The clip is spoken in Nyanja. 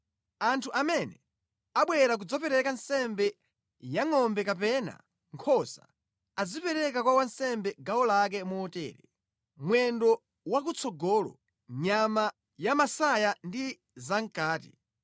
Anthu amene abwera kudzapereka nsembe ya ngʼombe kapena nkhosa, azipereka kwa wansembe gawo lake motere: mwendo wakutsogolo, nyama yamʼmasaya ndi zamʼkati.